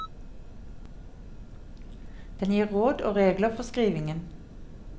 Den gir råd og regler for skrivingen.